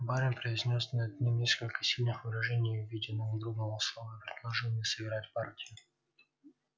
барин произнёс над ним несколько сильных выражений в виде надгробного слова и предложил мне сыграть партию